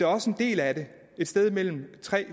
også en del af det et sted mellem